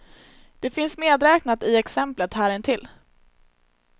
Det finns medräknat i exemplet här intill.